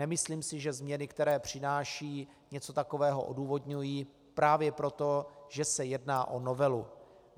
Nemyslím si, že změny, které přináší, něco takového odůvodňují, právě proto, že se jedná o novelu.